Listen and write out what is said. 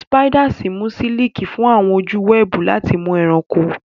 Spiders yí siliki fún àwọn ojú òpó wẹ́ẹ̀bù láti mú ẹranko.